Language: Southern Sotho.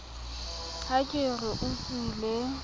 ha ke re o utlwile